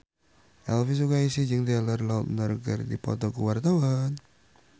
Elvi Sukaesih jeung Taylor Lautner keur dipoto ku wartawan